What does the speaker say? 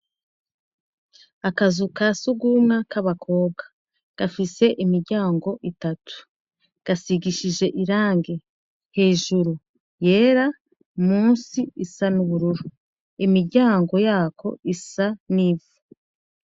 Akazu ka sugumwa k'abakobwa, gafise imiryango itatu, gasigishije irange hejuru yera, munsi isa n'ubururu. Imiiryango yako isa n'ivu.